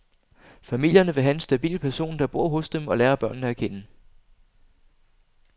Familierne vil have en stabil person, der bor hos dem og lærer børnene at kende.